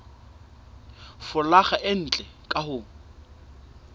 folaga e ntle ka ho